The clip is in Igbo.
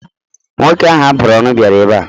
Nwoke ahụ a bụrụ ọnụ bịara ebe a.